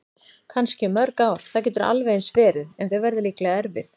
Kannski í mörg ár, það getur alveg eins verið- en þau verða líklega erfið.